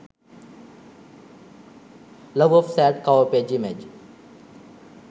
love of sad cover page image